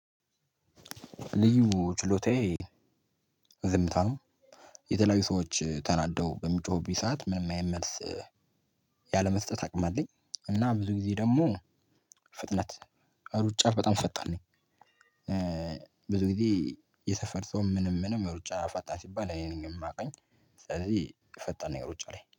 ልዩ ችሎታዬ ዝምታ ነው የተለያዩ ሰዎች ተናደው በሚጮሁብኝ ሰዓት ምንም አይነት መልስ ያለመስጠት አቅሙ አለኝ። እና ብዙ ጊዜ ደግሞ ፍጥነት ሩጫ በጣም ፈጣን ነኝ። ብዙ ጊዜ የሰፈር ሰው ምንም ምንም ሩጫ ፋጣን ሲባል እኔን ነው ሚያውቀኝ ስለዚህ ፈጣን ነኝ ሩጫ ላይ